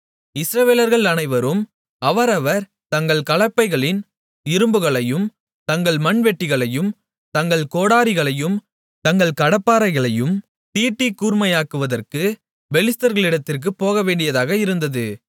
இஸ்ரவேலர்கள் அனைவரும் அவரவர் தங்கள் கலப்பைகளின் இரும்புகளையும் தங்கள் மண்வெட்டிகளையும் தங்கள் கோடரிகளையும் தங்கள் கடப்பாரைகளையும் தீட்டிக் கூர்மையாக்குவதற்கு பெலிஸ்தர்களிடத்திற்குப் போகவேண்டியதாக இருந்தது